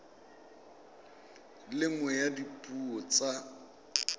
le nngwe ya dipuo tsa